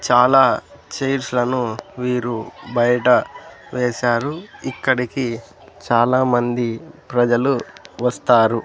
చాలా చైర్స్ లను వీరు బయట వేశారు ఇక్కడికి చాలామంది ప్రజలు వస్తారు.